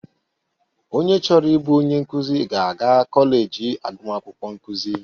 Onye chọrọ ịbụ onye nkụzị ga-aga kọleji agụmakwukwọ nkụzị.